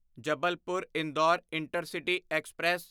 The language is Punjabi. Jabalpur Indore intercity express